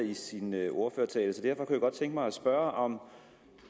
i sin ordførertale så derfor kunne jeg godt tænke mig at spørge om